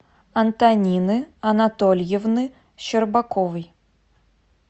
антонины анатольевны щербаковой